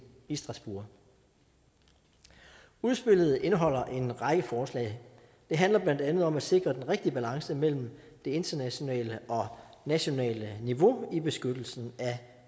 i strasbourg udspillet indeholder en række forslag det handler blandt andet om at sikre den rigtige balance mellem det internationale og nationale niveau i beskyttelsen af